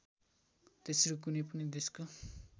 तेस्रो कुनै पनि देशको